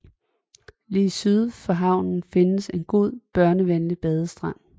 Lige syd for havnen findes en god og børnevenlig badestrand